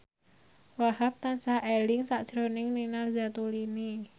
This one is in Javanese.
Wahhab tansah eling sakjroning Nina Zatulini